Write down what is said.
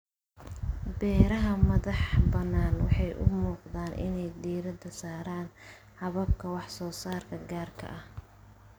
Beeraha madaxbannaan waxay u muuqdaan inay diiradda saaraan hababka wax soo saarka gaarka ah.